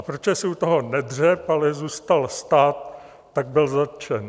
A protože si u toho nedřepl, ale zůstal stát, tak byl zatčen.